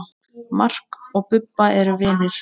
Mark og Bubba eru vinir.